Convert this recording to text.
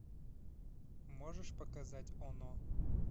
можешь показать оно